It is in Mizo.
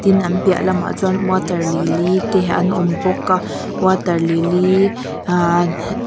tin an piah lamah chuan water lily te an awm bawk a water lily ah--